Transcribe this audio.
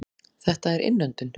Þetta er innöndun.